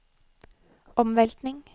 omveltning